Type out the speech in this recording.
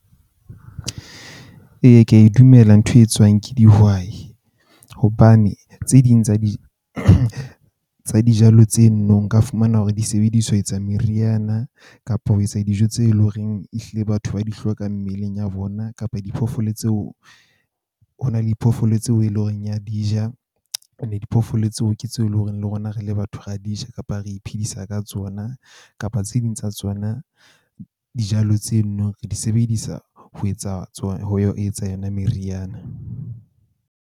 Ee, ke a e dumela ntho e etsuwang ke dihwai hobane tse ding tsa tsa dijalo tseno nka fumana hore disebedisetswa meriana kapo ho etsa dijo tse leng horeng e hlile batho ba di hloka mmeleng ya bona kapa diphoofolo tseo. Ho na le diphoofolo tseo e leng horeng ya di ja. And diphoofolo tseo ke tseo e leng hore le rona re le batho re a di ja kapa re iphedisa ka tsona. Kapa tse ding tsa tsona dijalo tseno re di sebedisa ho etsa tsona ho etsa yona meriana.